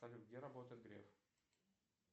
салют где работает греф